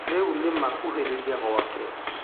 Rĩu nĩ ma kuhĩrĩirie gwake.